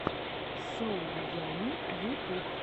соу ямми ютюб